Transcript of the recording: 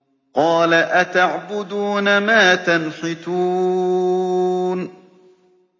قَالَ أَتَعْبُدُونَ مَا تَنْحِتُونَ